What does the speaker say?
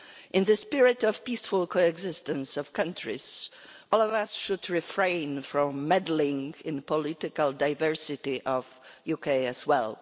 In the spirit of the peaceful coexistence of countries, all of us should refrain from meddling in the political diversity of the UK, as well.